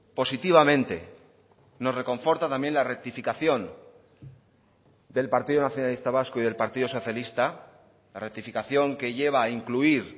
positivamente nos reconforta también la rectificación del partido nacionalista vasco y del partido socialista la rectificación que lleva a incluir